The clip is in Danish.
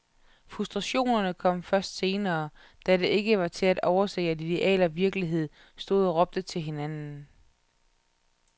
Frustrationerne kom først senere, da det ikke var til at overse, at ideal og virkelighed stod og råbte til hinanden.